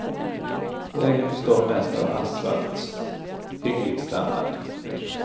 Vägen består mest av asfalt, hygglig standard.